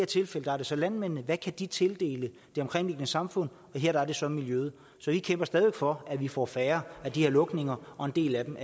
tilfælde er det så landmændene hvad kan de tildele det omkringliggende samfund og her er det så miljøet så vi kæmper stadig væk for at vi får færre af de her lukninger og en del af dem